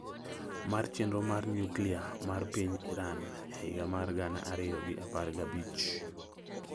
mar chenro mar nyuklia mar piny Iran e higa mar gana ariyo gi apar gabich.